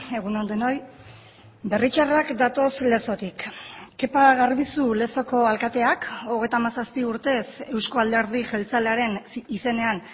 egun on denoi berritzarrak datoz lezotik kepa garbizu lezoko alkateak hogeita hamazazpi urtez euzko alderdi jeltzalearen izenean